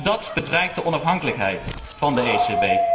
En dat bedreigt de onafhankelijkheid van de ECB.